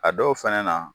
A dɔw fɛnɛ na